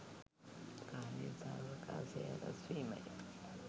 කාලය සහ අවකාශය හරස්වීමය.